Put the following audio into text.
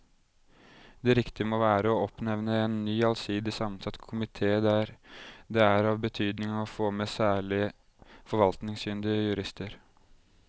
Det riktige må være å oppnevne en ny allsidig sammensatt komite der det er av betydning å få med særlig forvaltningskyndige jurister.